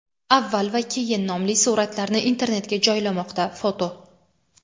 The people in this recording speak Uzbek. "avval va keyin" nomli suratlarni internetga joylamoqda (foto).